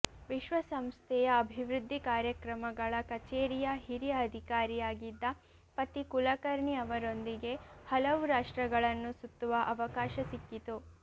ವಿಶ್ವಸಂಸ್ಥೆಯ ಅಭಿವೃದ್ಧಿ ಕಾರ್ಯಕ್ರಮಗಳ ಕಚೇರಿಯ ಹಿರಿಯ ಅಧಿಕಾರಿಯಾಗಿದ್ದ ಪತಿ ಕುಲಕರ್ಣಿ ಅವರೊಂದಿಗೆ ಹಲವು ರಾಷ್ಟ್ರಗಳನ್ನು ಸುತ್ತುವ ಅವಕಾಶ ಸಿಕ್ಕಿತು